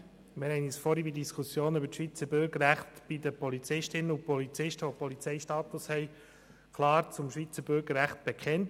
Wir haben uns vorhin in der Diskussion über die Schweizer Bürgerrechte bei den Polizistinnen und Polizisten, welche Polizeistatus haben, klar zum Schweizer Bürgerrecht bekannt.